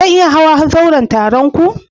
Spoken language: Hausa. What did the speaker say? Zan iya hayan zauren taron ku?